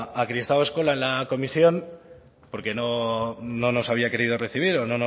a kristau eskola en la comisión porque no nos había querido recibir o no